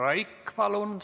Aitäh!